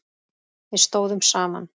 Við stóðum saman.